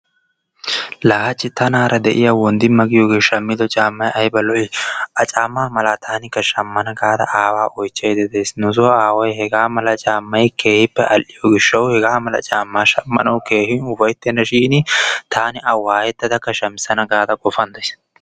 Laa hachchi tanaara de'iya Wonddimma giyoogee shammido caamay ayba lo''i. A caammaa mala tanikka shammana gaada aawaa oychchaydda de'aysi. Nuso aaway hega mala caammay keehippe al''iyo gishshawu hegaa mala caammaa shammanawu keehippe ufayttennashin taani A waayettadakka shamissana gaada qofan de'ays.